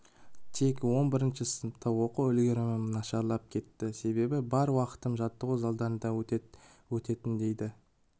тек он бірінші сыныпта оқу үлгерімім нашарлап кетті себебі бар уақытым жаттығу залдарында өтетін дейді